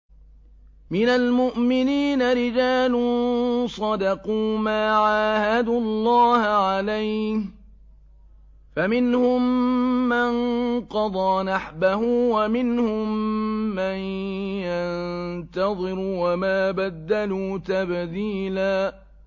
مِّنَ الْمُؤْمِنِينَ رِجَالٌ صَدَقُوا مَا عَاهَدُوا اللَّهَ عَلَيْهِ ۖ فَمِنْهُم مَّن قَضَىٰ نَحْبَهُ وَمِنْهُم مَّن يَنتَظِرُ ۖ وَمَا بَدَّلُوا تَبْدِيلًا